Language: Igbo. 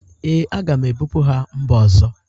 Ee, aga m ebụpu ha mba ọzọ